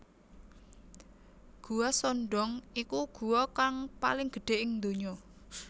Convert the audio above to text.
Guwa Son Doong iku guwa kang paling gedhe ing ndonya